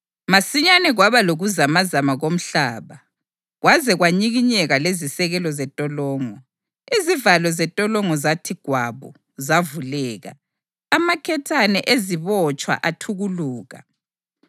Masinyane kwaba lokuzamazama komhlaba kwaze kwanyikinyeka lezisekelo zentolongo. Izivalo zentolongo zathi gwabu zavuleka, amaketane ezibotshwa athukuluka.